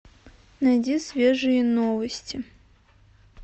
найди свежие новости